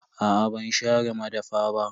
Aa ban share madafa ba.